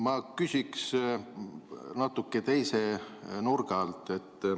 Ma küsin natuke teise nurga alt.